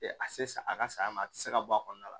a se sa a ka saya ma a ti se ka bɔ a kɔnɔna la